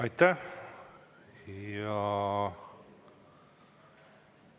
Aitäh!